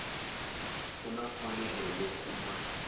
u na mfanelo yo kuma